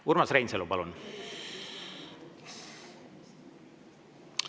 Urmas Reinsalu, palun!